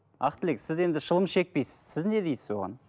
ақтілек сіз енді шылым шекпейсіз сіз не дейсіз оған